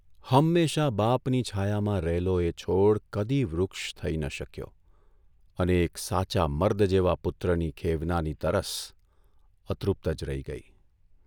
હંમેશા બાપની છાયામાં રહેલો એ છોડ કદી વૃક્ષ થઇ ન શક્યો અને એક સાચા મર્દ જેવા પુત્રની ખેવનાની તરસ અતૃપ્ત જ રહી ગઇ.